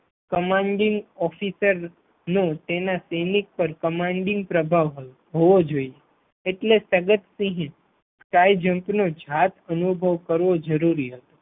Commanding officer નો તેના સૈનિક પર કમાન્ડિંગ પ્રભાવ હોવો જોઈએ એટલે સદત સિંહએ Sky jump નો જાત અનુભવ કરવો જરૂરી હતો.